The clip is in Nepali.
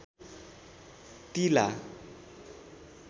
तिला